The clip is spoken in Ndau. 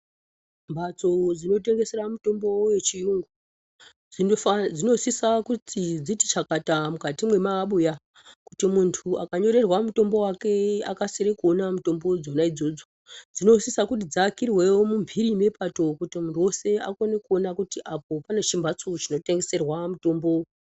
Mhatso dzino tengesera mitombo yechiyungu dzinosisa kuti dziti chakata mukati mwemabuya kuti muntu akanyorerwa mutombo wake akasire kuona mitombo dzona idzodzo. Dzinosisa kuti dziakirwe muphiri mwepato kuti muntu weshe akone kuona kuti pane chimbatso chino tengeserwa mutombo.